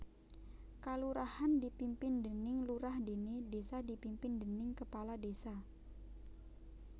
Kalurahan dipimpin déning lurah déné désa dipimpin déning kepala désa